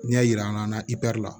N'i y'a yir'an na la